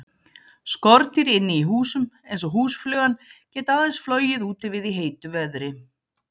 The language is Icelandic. Skordýr inni í húsum, eins og húsflugan, geta aðeins flogið úti við í heitu veðri.